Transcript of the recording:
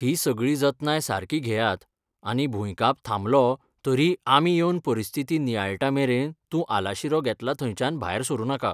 ही सगळी जतनाय सारकी घेयात आनी भुंयकाप थांबलो तरीय आमी येवन परिस्थिती नियाळटामेरेन तूं आलाशिरो घेतला थंयच्यान भायर सरूं नाका.